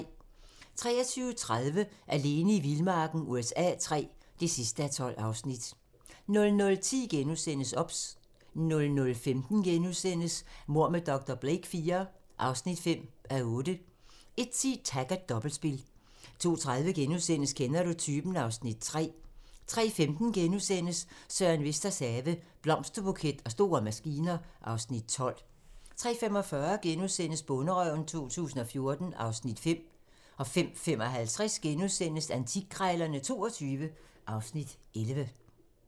23:30: Alene i vildmarken USA III (12:12) 00:10: OBS * 00:15: Mord med dr. Blake IV (5:8)* 01:10: Taggart: Dobbeltspil 02:30: Kender du typen? (Afs. 3)* 03:15: Søren Vesters have - Blomsterbuket og store maskiner (Afs. 12)* 03:45: Bonderøven 2014 (Afs. 5)* 05:55: Antikkrejlerne XXII (Afs. 11)*